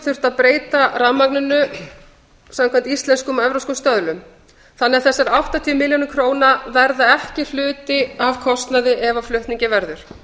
þurfti að breyta rafmagninu samkvæmt íslenskum og evrópskum stöðlum þannig að þessar áttatíu milljónir króna verða ekki hluti af kostnaði ef af flutningi verður